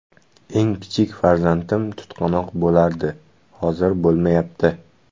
Eng kichik farzandim tutqanoq bo‘lardi, hozir bo‘lmayapti.